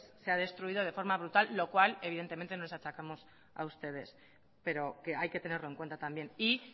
se ha destruido de forma brutal lo cual evidentemente no les achacamos a ustedes pero que hay que tenerlo en cuenta también y